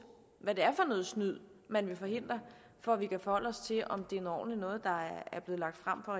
hvad det er for noget snyd man vil forhindre for at vi kan forholde os til om det er noget ordentligt noget der er blevet lagt frem fra